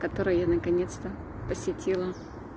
который я наконец-то посетила